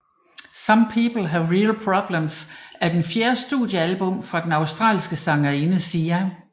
Some People Have Real Problems er den fjerde studiealbum fra den australske sangerinde Sia